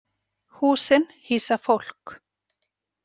Húsin hýsa fólk.